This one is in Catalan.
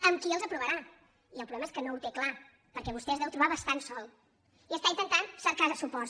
amb qui els aprovarà i el problema és que no ho té clar perquè vostè es deu trobar bastant sol i està intentant cercar suports